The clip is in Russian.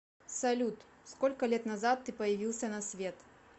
салют сколько лет назад ты появился на свет